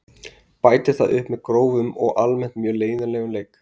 Bætir það upp með grófum og almennt mjög leiðinlegum leik.